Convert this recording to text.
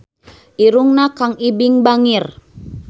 Irungna Kang Ibing bangir